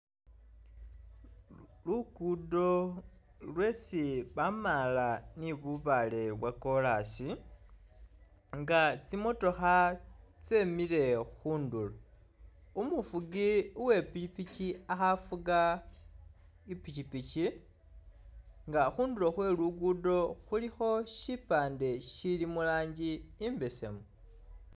Lukudo lwesi bamala ni bubale bwakolasi nga tsimotokha tsemile khundulo umufugi uwepikipiki akhafuga pikipiki nga khundulo khwelugudo khulikho shipande shili mulangi imbesemu.